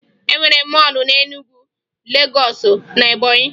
E nwere mọọlụ na Enugwu, Legọọsụ, na Ebọnyị